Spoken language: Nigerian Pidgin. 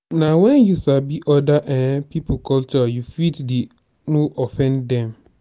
na when you sabi other um people culture you fit dey no offend them